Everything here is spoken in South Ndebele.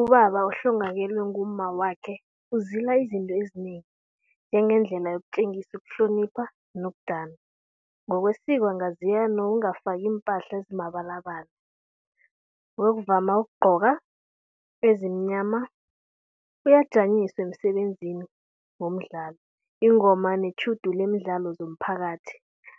Ubaba ohlongakalelwe ngumma wakhe uzila izinto ezinengi njengendlela yokutjengisa ukuhlonipha nokudana. Ngokwesiko angazila nokungafaki iimpahla ezimabalabala, uyokuvama ukugcoka ezimnyama, uyajanyiswa emsebenzini womdlalo, ingoma netjhudu lemidlalo zomphakathi.